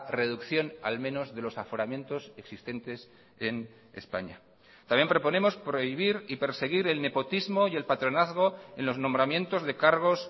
reducción al menos de los aforamientos existentes en españa también proponemos prohibir y perseguir el nepotismo y el patronazgo en los nombramientos de cargos